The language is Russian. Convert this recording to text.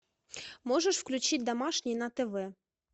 можешь включить домашний на тв